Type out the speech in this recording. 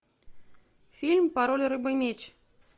фильм пароль рыба меч